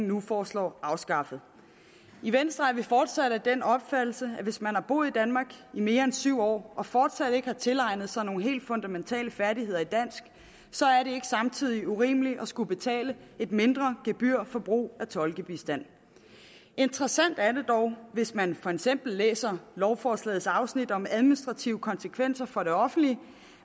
nu foreslår afskaffet i venstre er vi fortsat af den opfattelse at hvis man har boet i danmark i mere end syv år og fortsat ikke har tilegnet sig nogle helt fundamentale færdigheder i dansk så er det ikke samtidig urimeligt at skulle betale et mindre gebyr for brug af tolkebistand interessant er det dog hvis man for eksempel læser lovforslagets afsnit om administrative konsekvenser for det offentlige